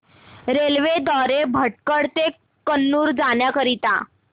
railway द्वारे भटकळ ते कन्नूर जाण्या करीता